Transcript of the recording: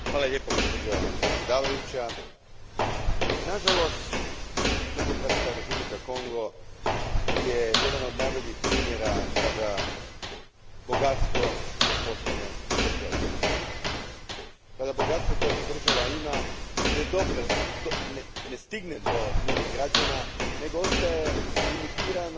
Gospođo predsjednice, nažalost Demokratska Republika Kongo je jedan od najboljih primjera kada bogatstvo postane prokletstvo, kada bogatstvo koje jedna država ima ne stigne do njenih građana nego ostaje limitirano